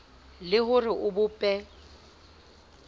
le ho re o bope